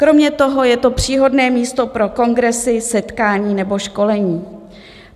Kromě toho je to příhodné místo pro kongresy, setkání nebo školení.